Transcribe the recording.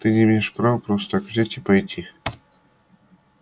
ты не имеешь права просто так взять и пойти